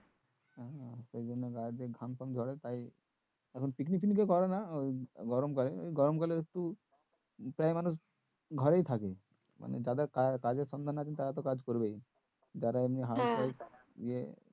সেই জন্য গায়ের যে গাম টাম ঝরে তাই এখন picnic কেউ করে না গরম কালে ওই গরম কালে একটু প্রায় মানুষ ঘরেই থাকে মানে যাদের কাজের সঙ্গে আছে তারা তো কাজ করবেন যারা এমনি